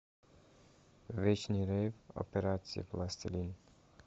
вечный рейв операция пластилин